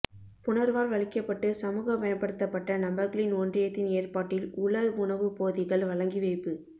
புனர்வாழ்வளிக்கப்பட்டு சமூகமயப்படுத்தப்பட்ட நபர்களின் ஒன்றியத்தின் ஏற்பாட்டில் உலர் உணவுப் போதிகள் வழங்கி வைப்பு